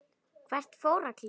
Hvert fóru allir?